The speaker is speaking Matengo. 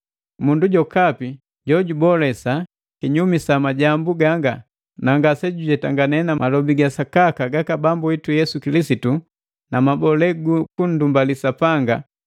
Mundu jokapi jojubolesa kinyumi sa majambu ganga, na ngasejujetangane na malobi ga sakaka gaka Bambu witu Yesu Kilisitu na mabole gu kunndumbali Sapanga,